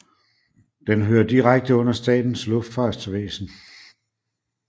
Den hører direkte under Statens Luftfartsvæsen